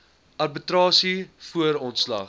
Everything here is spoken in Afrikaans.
arbitrasie voor ontslag